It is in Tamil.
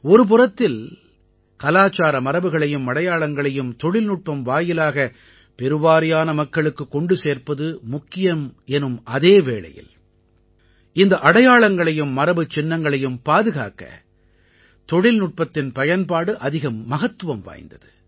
ஒருபுறத்தில் கலாச்சார மரபுகளையும் அடையாளங்களையும் தொழில்நுட்பம் வாயிலாக பெருவாரியான மக்களுக்குக் கொண்டு சேர்ப்பது முக்கியம் எனும் அதே வேளையில் இந்த அடையாளங்களையும் மரபுச்சின்னங்களையும் பாதுகாக்க தொழில்நுட்பத்தின் பயன்பாடு அதிக மகத்துவம் வாய்ந்தது